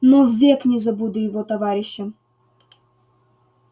но ввек не забуду его товарища